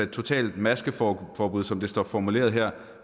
totalt maskeforbud som det står formuleret her